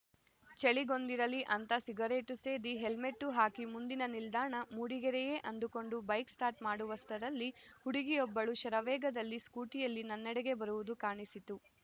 ಚಳಿಗೊಂದಿರಲಿ ಅಂತ ಸಿಗರೇಟು ಸೇದಿ ಹೆಲ್ಮೆಟ್ಟು ಹಾಕಿ ಮುಂದಿನ ನಿಲ್ದಾಣ ಮೂಡಿಗೆರೆಯೇ ಅಂದುಕೊಂಡು ಬೈಕ್‌ ಸ್ಟಾರ್ಟ್‌ ಮಾಡುವಷ್ಟರಲ್ಲಿ ಹುಡುಗಿಯೊಬ್ಬಳು ಶರವೇಗದಲ್ಲಿ ಸ್ಕೂಟಿಯಲ್ಲಿ ನನ್ನೆಡೆಗೆ ಬರುವುದು ಕಾಣಿಸಿತು